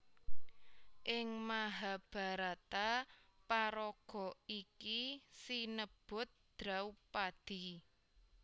Ing Mahabharata paraga iki sinebut Draupadi